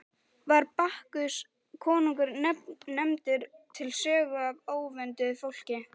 Var Bakkus konungur nefndur til sögu af óvönduðu fólki.